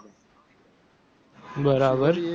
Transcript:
બરાબર